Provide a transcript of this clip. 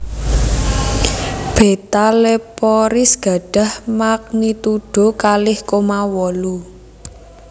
Beta Leporis gadhah magnitudo kalih koma wolu